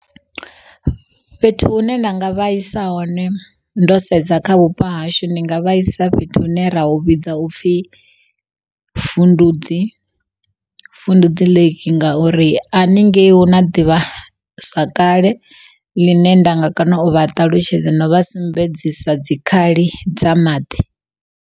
Fhethu hu ne nda nga vha isa hone ndo sedza kha vhupo hashu ndi nga vha isa fhethu hune ra u vhidza upfhi Fundudzi, Fundudzi Lake ngauri a haningei huna ḓivha zwakale ḽine ndanga kona u vha ṱalutshedza na vha sumbedzisa dzikhali dza maḓi.